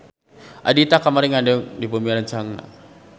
Ahdiat kamari ngendong di bumi rerencanganna